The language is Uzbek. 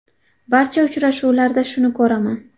Barcha uchrashuvlarda shuni ko‘raman.